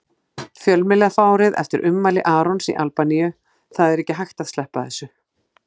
Fjölmiðlafárið eftir ummæli Arons í Albaníu Það er ekki hægt að sleppa þessu.